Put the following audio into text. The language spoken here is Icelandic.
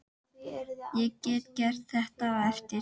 Ég get gert þetta á eftir.